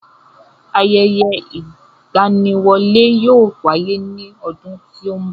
Ayẹyẹ ìgbaniwọlé yóò wáyé ní ọdún tó ń bọ̀.